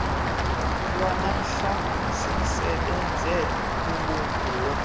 lwanamhla zisebenze ubunguwe